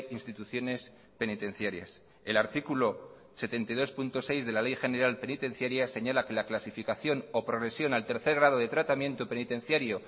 instituciones penitenciarias el artículo setenta y dos punto seis de la ley general penitenciaria señala que la clasificación o progresión al tercer grado de tratamiento penitenciario